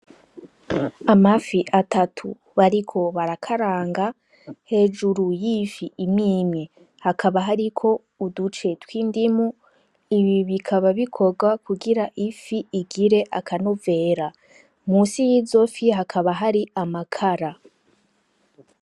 Amafi atatu bariko barakaraga, hejuru yifi imwimwi hakaba hariko uduce twindimu ibi bikaba bikorwa kugira ifi igire akanovera munsi yizo fi hakaba hariko amakara.